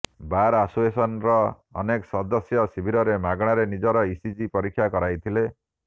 ବାର୍ association ର ଅନେକ ସଦସ୍ୟ ଶିବିରରେ ମାଗଣାରେ ନିଜର ଇସିଜି ପରୀକ୍ଷା କରାଇଥିଲେ